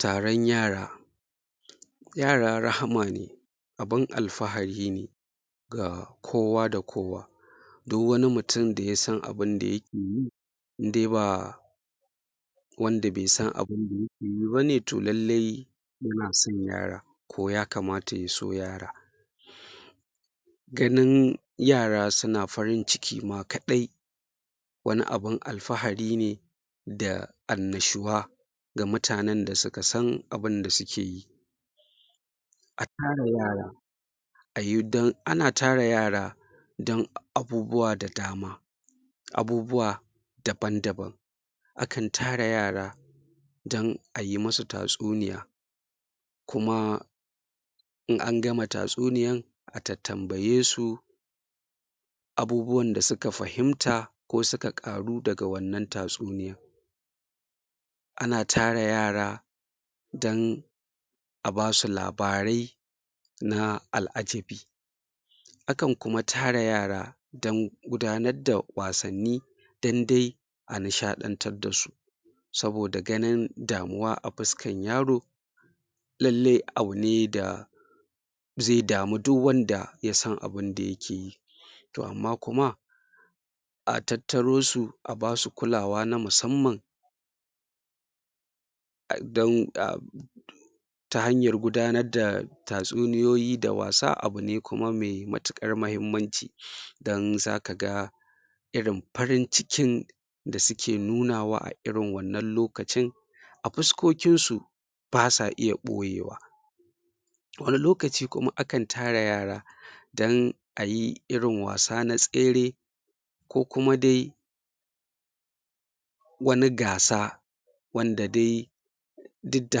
Taron yara yara rahama ne abin alfahari ne ga kowa da kowa du wani mutum da ya san abin da yake yi in de ba wanda be san abin da yake yi ba ne to lallai ya na san yara ko ya kamata ya so yara ganin yara suna farin-ciki ma kadai wani abin alfahari ne da annashuwa ga mutanen da suka san abin da suke yi a tara yara a yi dan ana tara yara dan abubuwa da dama abubuwa daban-daban akan tara yara dan a yi musu tatsuniya kuma in an gama tatsuniyan a tattambaye su abubuwan da suka fahimta ko suka ƙaru daga wannan tatsuniya ana tara yara dan a ba su labarai na al'ajabi akan kuma tara yara dan gudanar da wasanni dan de a nishaɗantar da su saboda ganin damuwa a fuskan yaro lalle abu ne da ze damu du wanda ya san abin da yake yi to amma kuma a tattaro su a ba su kulawa na musamman um dan um ta hanyar gudanar da tatsuniyoyi da wasa abu ne kuma me matuƙar mahimmanci dan zaka ga irin farin-cikin da suke nunawa a irin wannan lokacin a fuskokinsu ba sa iya ɓoyewa wani lokaci kuma akan tara yara dan a yi irin wasa na tsere ko kuma de wanin gasa wanda de duk da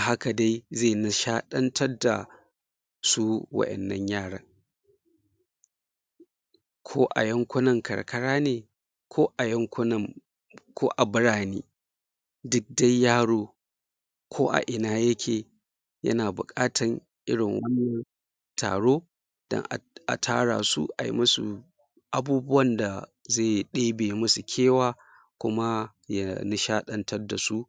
haka de ze nishadantar da su waƴannan yaran ko a yankunan karkara ne ko a yankunan ko a birane duk de yaro ko a ina yake yana buƙatan irin wannan taro dan a tara su a yi musu abubuwan da ze ɗebe musu kewa kuma ya nishaɗantar da su